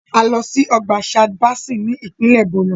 A lọ sí ọgbà Chad Basin ní ìpínlẹ̀ Borno.